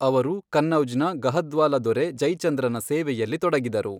ಅವರು ಕನ್ನೌಜ್ನ ಗಹದ್ವಾಲ ದೊರೆ ಜೈಚಂದ್ರನ ಸೇವೆಯಲ್ಲಿ ತೊಡಗಿದರು.